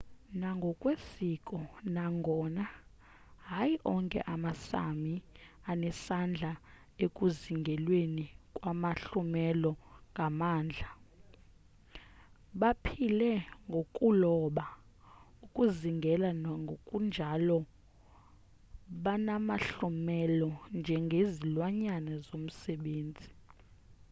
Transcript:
nangokwesiko nangona hayi onke ama-sámi anesandla ekuzingelweni kwamahlumela ngamandla baphile ngokuloba ukuzingela nokunjalo benamahlumela njengezilwanyane zomsebenzi